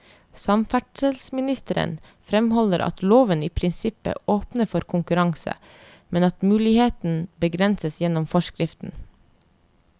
Samferdselsministeren fremholder at loven i prinsippet åpner for konkurranse, men at muligheten begrenses gjennom forskriften.